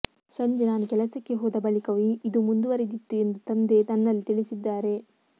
ಸಂಜೆ ನಾನು ಕೆಲಸಕ್ಕೆ ಹೋದ ಬಳಿಕವೂ ಇದು ಮುಂದುವರೆದಿತ್ತು ಎಂದು ತಂದೆ ನನ್ನಲ್ಲಿ ತಿಳಿಸಿದ್ದಾರೆ